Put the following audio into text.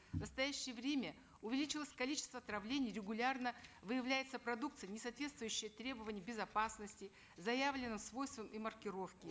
в настоящее время увеличилось количество отравлений регулярно выявляется продукция несоответствующая требованиям безопасности заявленным свойствам и маркировке